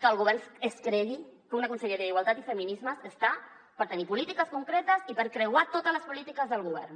que el govern es cregui que una conselleria d’igualtat i feminismes està per tenir polítiques concretes i per creuar totes les polítiques del govern